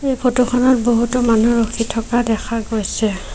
Photo খনত বহুতো মানুহ ৰখি থকা দেখা গৈছে।